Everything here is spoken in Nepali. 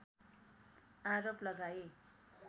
आरोप लगाए